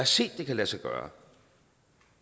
set at det kan lade sig gøre